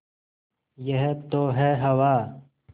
यह तो है हवा